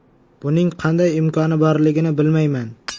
Buning qanday imkoni borligini bilmayman.